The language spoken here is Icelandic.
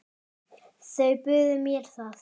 Þeir buðu mér það.